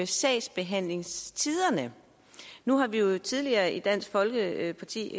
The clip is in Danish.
sagsbehandlingstiderne nu har vi jo tidligere i dansk folkeparti